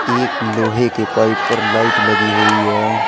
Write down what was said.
एक लोहे के पाइप पर लाइट लगी हुई है।